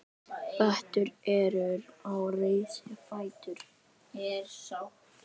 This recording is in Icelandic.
Berti er risinn á fætur.